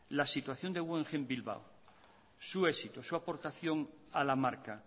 la situación de guggeheim bilbao su éxito su aportación a la marca